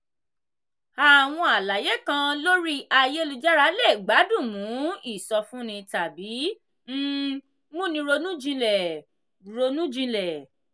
àwọn àlàyé kan lórí ayélujára le gbádùn mu ìsọfúnni tàbí um múni ronú jinlẹ̀. ronú jinlẹ̀.